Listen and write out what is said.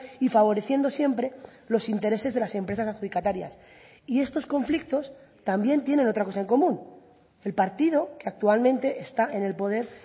y favoreciendo siempre los intereses de las empresas adjudicatarias y estos conflictos también tienen otra cosa en común el partido que actualmente está en el poder